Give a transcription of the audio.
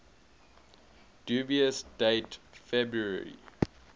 dubious date february